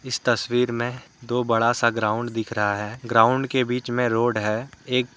इस तस्वीर मे दो बड़ा सा ग्राउंड दिख रहा है ग्राउंड के बीच मे रोड है एक--